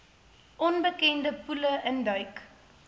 onbekende poele induik